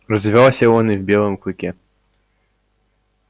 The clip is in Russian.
развивался он и в белом клыке